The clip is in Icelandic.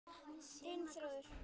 Þinn Þórður.